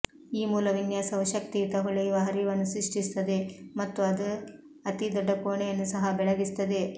ಈ ಮೂಲ ವಿನ್ಯಾಸವು ಶಕ್ತಿಯುತ ಹೊಳೆಯುವ ಹರಿವನ್ನು ಸೃಷ್ಟಿಸುತ್ತದೆ ಮತ್ತು ಅದು ಅತಿ ದೊಡ್ಡ ಕೋಣೆಯನ್ನೂ ಸಹ ಬೆಳಗಿಸುತ್ತದೆ